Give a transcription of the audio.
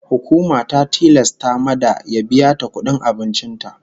Hukuma ta tilasta mada ya biya ta kudin abincin ta.